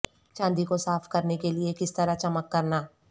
چاندی کو صاف کرنے کے لئے کس طرح چمک کرنا